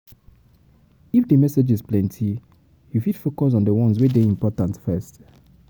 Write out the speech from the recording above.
If di messages plenty you fit plenty you fit focus on di ones wey de important first